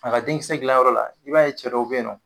A ka den kisɛ dilanyɔrɔ la, i b'a ye cɛ dow bɛ yen nɔ.